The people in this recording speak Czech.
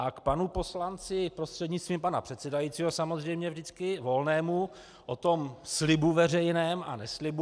A k panu poslanci, prostřednictvím pana předsedajícího samozřejmě vždycky, Volnému, o tom slibu veřejném a neslibu.